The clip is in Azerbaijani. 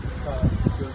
Qaz.